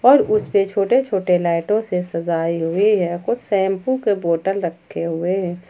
और उस से छोटे छोटे लाइटों से सजाए हुए हैं कुछ शैंपू के बोतल रखे हुए हैं।